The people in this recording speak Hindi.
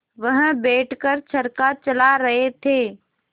वह बैठ कर चरखा चला रहे थे